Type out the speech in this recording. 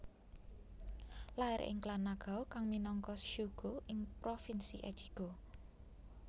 Lair ing klan Nagao kang minangka shugo ing provinsi Echigo